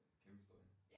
Kæmpestort ik